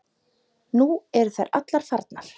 Nú eru þær allar farnar.